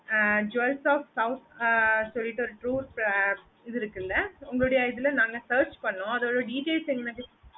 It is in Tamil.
jewels of scouts னு சொல்லிட்டு ஒரு group இது இருக்குல்ல உங்களோட இதுல நாங்க search பண்ணோம் அதோட details எங்களுக்கு